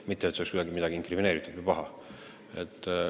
Mitte et see oleks kuidagi midagi inkrimineeritavat või paha.